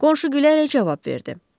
Qonşu gülərək cavab verdi.